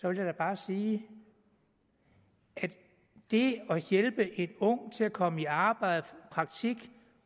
jeg da bare sige at det at hjælpe en ung til at komme i arbejde i praktik